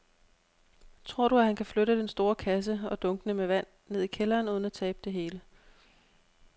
Tror du, at han kan flytte den store kasse og dunkene med vand ned i kælderen uden at tabe det hele?